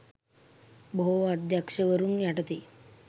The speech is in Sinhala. බොහෝ අධ්‍යක්‍ෂවරුන් යටතේ